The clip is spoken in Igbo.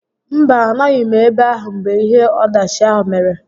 Mba, a nọghị m ebe ahụ mgbe ihe ọdachi ahụ mere